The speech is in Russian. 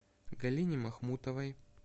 галине махмутовой